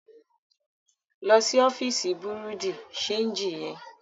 Lọ sí ọfíìsì bùrúdì ṣeègì yẹn.